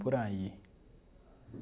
Por aí.